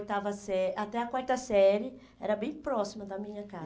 a oitava sé, até a quarta série, era bem próxima da minha